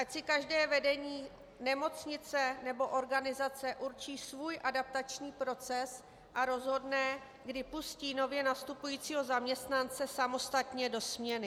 Ať si každé vedení nemocnice nebo organizace určí svůj adaptační proces a rozhodne, kdy pustí nově nastupujícího zaměstnance samostatně do směny.